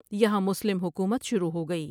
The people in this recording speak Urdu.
یہاں مسلم حکومت شروع ہو گئی ۔